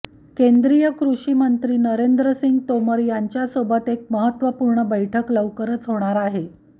केंद्रीय कृषिमंत्री नरेंद्रसिंग तोमर यांच्यासोबत एक महत्त्वपूर्ण बैठक लवकरच होणार आहे